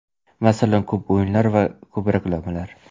Masalan, ko‘p o‘yinlar va ko‘p reklamalar.